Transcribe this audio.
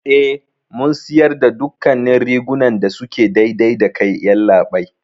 Eh, Mun siyarda dukkannin rigunan da suke daidai dakai, yallaɓai.